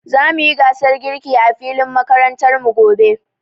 Zamu yi gasar girki a filin makarantar mu gobe.